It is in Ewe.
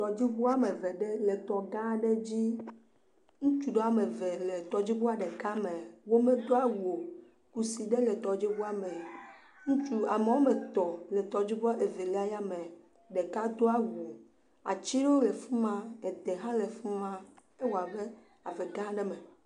Tɔdziŋu ame eve ɖe le tɔ gã aɖe dzi. Ŋutsu ame eve le tɔdziŋua ɖeka me. Womedo awu o. Kusi ɖe le tɔdziŋua me. Ame etɔ̃ le tɔdziŋua evelia me. Ɖeka do awu. Ati ɖewo le afi ma. Ede hã le fi ma. Ewɔ abe ave gã aɖe me.